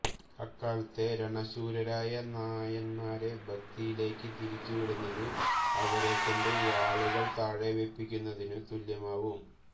അക്കാലത്തെ രണശൂരരായ നായന്മാരെ ഭക്തിയിലേയ്ക്ക് തിരിച്ചു വിടുന്നത് അവരെക്കൊണ്ട് വാളുകൾ താഴെ വെപ്പിക്കുന്നതിനു തുല്യമാവും